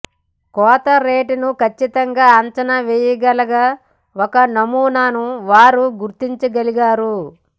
కోత రేటును ఖచ్చితంగా అంచనా వేయగల ఒక నమూనాను వారు గుర్తించగలిగారు